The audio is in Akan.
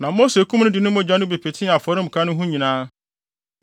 Na Mose kum no de ne mogya no bi petee afɔremuka no ho nyinaa.